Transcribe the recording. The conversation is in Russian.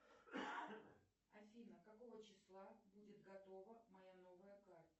афина какого числа будет готова моя новая карта